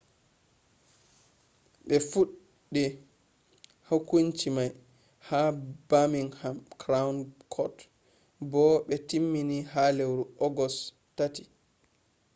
be fuɗɗe hokunci mai ha birmingham crown court bo be temmini ha lewru august 3